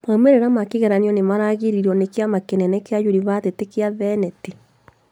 Maumĩrĩra ma kĩgeranio nĩmaragĩrĩrio nĩ kĩama kĩnene kĩa yunibathĩtĩ gĩa thenĩti